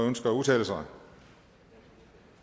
ønsker at udtale sig